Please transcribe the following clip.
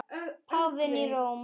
Páfinn í Róm.